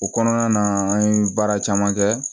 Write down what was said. O kɔnɔna na an ye baara caman kɛ